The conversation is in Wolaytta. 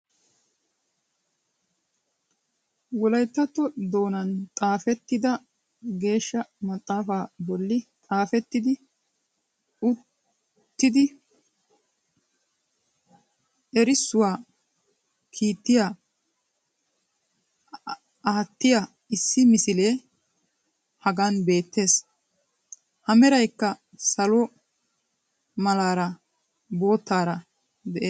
Wolayttatto doonan xaafettida Geeshsha maxaafa bolli xaafetidi uttidi erissuwaa kiitya aattiyaa issi misile hagan beettees. A meraykka salo malaara boottaara de'ees.